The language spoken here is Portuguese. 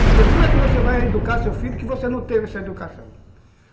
Porque como é que você vai educar seu filho que você não teve essa educação?